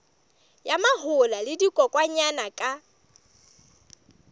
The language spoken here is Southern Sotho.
ya mahola le dikokwanyana ka